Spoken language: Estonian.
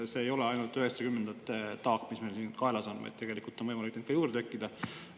See ei ole ainult üheksakümnendate taak, mis meil kaelas on, vaid tegelikult on võimalik, et neid tekib ka juurde.